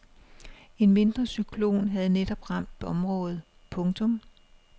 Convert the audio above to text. En mindre cyklon havde netop ramt området. punktum